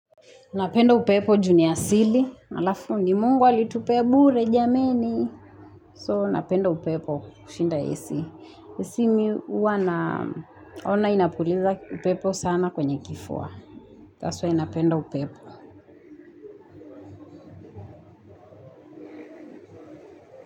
Napenda upepo juni asili. Alafu ni mungu alitupe bure jameni. So napenda upepo kushinda AC. AC mihuwa naona inapuliza upepo sana kwenye kifua. That's why napenda upepo.